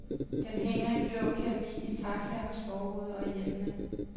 Den hænger i blå keramik i taxaernes forruder og i hjemmene.